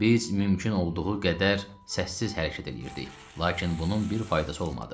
Biz mümkün olduğu qədər səssiz hərəkət eləyirdik, lakin bunun bir faydası olmadı.